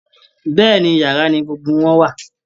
Bẹ́ẹ̀ ni, yàrá ni gbogbo wọn wà